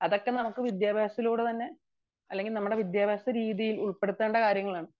അതൊക്കെ നമുക്ക് വിദ്യാഭ്യാസത്തിലൂടെ തന്നെ അല്ലെങ്കിൽ വിദ്യാഭ്യാസ രീതിയിൽ ഉൾപ്പെടുത്തേണ്ട കാര്യങ്ങളാണ്